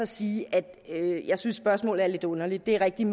sige at jeg synes spørgsmålet er lidt underligt det er rigtigt